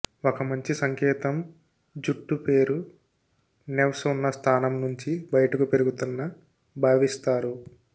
ఒక మంచి సంకేతం జుట్టు పేరు నెవ్స్ ఉన్న స్థానం నుంచి బయటకు పెరుగుతున్న భావిస్తారు